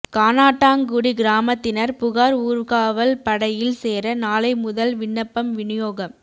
கானாட்டாங்குடி கிராமத்தினர் புகார் ஊர்காவல் படையில் சேர நாளை முதல் விண்ணப்பம் விநியோகம்